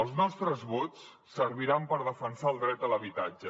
els nostres vots serviran per defensar el dret a l’habitatge